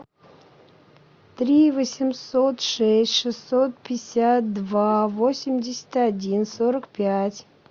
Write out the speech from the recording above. три восемьсот шесть шестьсот пятьдесят два восемьдесят один сорок пять